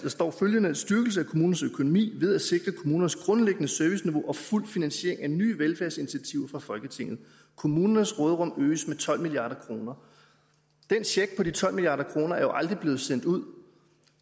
står følgende styrkelse af kommunernes økonomi ved at sikre kommunernes grundlæggende serviceniveau og fuld finansiering af nye velfærdsinitiativer fra folketinget kommunernes råderum øges med tolv milliard kroner den check på de tolv milliard kroner er jo aldrig blevet sendt ud